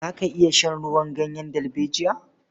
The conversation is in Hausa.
Za ka iya shan ruwan ganyen dalbejiya?